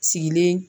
Sigilen